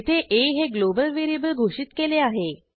येथे आ हे ग्लोबल व्हेरिएबल घोषित केले आहे